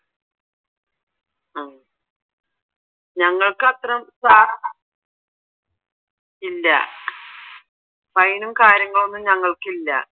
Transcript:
ആഹ് ഞങ്ങൾക്ക് അത്രോം ഇല്ല ഫൈനും കാര്യങ്ങളൊന്നും ഞങ്ങൾക്കില്ല